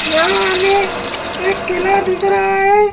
यहां हमें एक किला दिख रहा हैं।